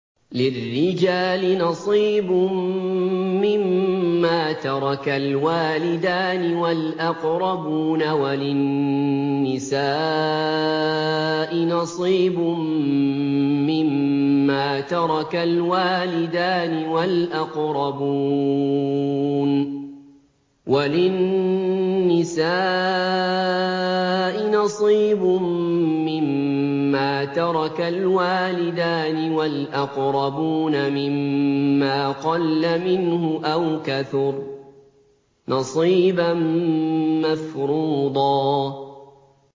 لِّلرِّجَالِ نَصِيبٌ مِّمَّا تَرَكَ الْوَالِدَانِ وَالْأَقْرَبُونَ وَلِلنِّسَاءِ نَصِيبٌ مِّمَّا تَرَكَ الْوَالِدَانِ وَالْأَقْرَبُونَ مِمَّا قَلَّ مِنْهُ أَوْ كَثُرَ ۚ نَصِيبًا مَّفْرُوضًا